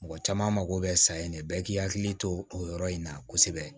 Mɔgɔ caman mako bɛ sa in de bɛɛ k'i hakili to o yɔrɔ in na kosɛbɛ